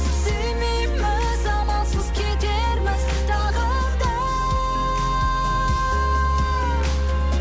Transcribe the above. сүймейміз амалсыз кетерміз тағы да